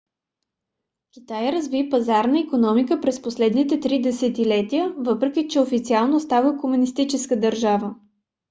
китай разви пазарна икономика през последните три десетилетия въпреки че официално остана комунистическа държава